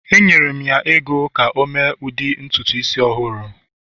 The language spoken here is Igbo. Enyere m ya ego ka o mee ụdị ntutu isi ọhụrụ